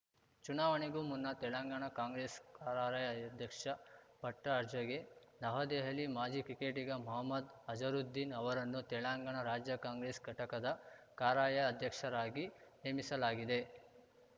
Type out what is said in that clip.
ಚುನಾವಣೆಗೂ ಮುನ್ನ ತೆಲಂಗಾಣ ಕಾಂಗ್ರೆಸ್‌ ಕಾರಾರ‍ಯಧ್ಯಕ್ಷ ಪಟ್ಟಅರ್ಜಗೆ ನವದೆಹಲಿ ಮಾಜಿ ಕ್ರಿಕೆಟಿಗ ಮಹಮ್ಮದ್‌ ಅಜರುದ್ದೀನ್‌ ಅವರನ್ನು ತೆಲಂಗಾಣ ರಾಜ್ಯ ಕಾಂಗ್ರೆಸ್‌ ಘಟಕದ ಕಾರಾರ‍ಯ ಅಧ್ಯಕ್ಷರಾಗಿ ನೇಮಿಸಲಾಗಿದೆ